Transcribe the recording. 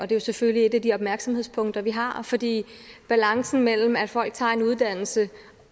det er selvfølgelig et af de opmærksomhedspunkter vi har fordi balancen mellem det at folk tager en uddannelse